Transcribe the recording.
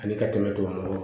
Ani ka tɛmɛ tubabukan kɔ kan